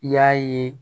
I y'a ye